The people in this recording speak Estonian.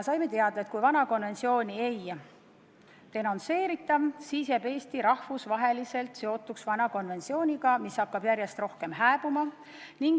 Saime teada, et kui vana konventsiooni ei denonsseerita, siis jääb Eesti rahvusvaheliselt seotuks vana konventsiooniga, mis hakkab järjest rohkem hääbuma.